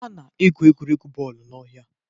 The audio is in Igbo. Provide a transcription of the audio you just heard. A na-egwu egwuregwu bọọlụ n'ọhịa